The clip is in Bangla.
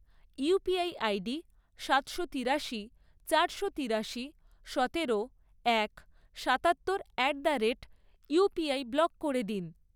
ইউপিআই আইডি সাতশো তিরাশি, চারশো তিরাশি, সতেরো, এক, সাতাত্তর at the rate UPI block করে দিন।